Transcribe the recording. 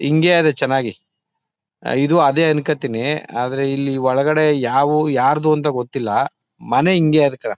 ಇಂಗೆ ಅದೇ ಚನ್ನಾಗಿ. ಇದು ಅದೇ ಅನ್ಕಳ್ತಿನಿ ಆದ್ರೆ ಇಲ್ಲಿ ಒಳಗಡೆ ಯಾವು ಯಾರ್ದು ಅಂತ ಗೊತ್ತಿಲ್ಲ ಮನೆ ಇಂಗೆ ಅದೇ ಕಣ.